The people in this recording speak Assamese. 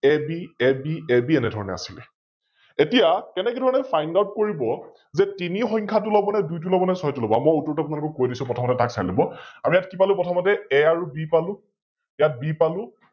AB, AB, AB এনেধৰনে আছিলে । এতিয়া কেনেকে ধৰনে FindOut কৰিব, যে তিনি সংখ্যাটো লব নে দুইটো লব নে, ছয়টো লব । মই উত্তৰ টো কৈ দিছো প্ৰথমতে তক চাই লব, আমি ইয়াত কি পালো প্ৰথমতে A আৰু B পালো, ইয়াত B পালো